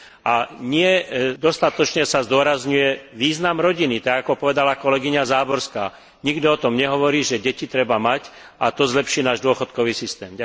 A nie dostatočne sa zdôrazňuje význam rodiny, tak ako povedala kolegyňa Záborská, nikto o tom nehovorí, že deti treba mať, a to zlepší náš dôchodkový systém.